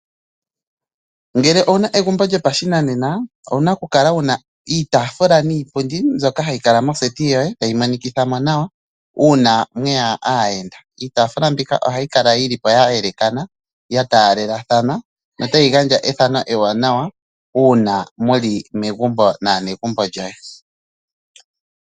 Ngele owuna egumbo lyopashinanena, owuna oku kala iitafula niipundi mbyoka hayi kala mondunda yoku kuutumba, tayi mo nikithamo nawa, uuna mweya aayenda. Iitafula mbika oha yi kala yilipo ya yelekana, ya taalelathana, no tayi gandja ethano ewanawa nawa uuna muli megumbo naanegumbo lyoye.